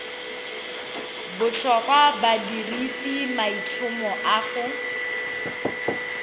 botlhokwa badirisi maitlhomo a ga